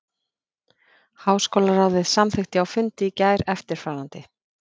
Háskólaráðið samþykkti á fundi í gær eftirfarandi